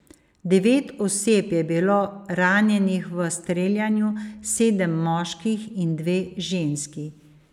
Devet oseb je bilo ranjenih v streljanju, sedem moških in dve ženski.